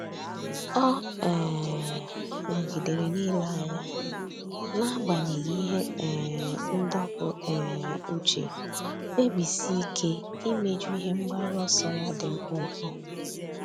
Ọ́ um nọ́gídèrè n’ílé anya n’ágbànyéghị́ ihe um ndọpụ um uche, kpebisie ike íméjú ihe mgbaru ọsọ ya dị mkpụmkpụ.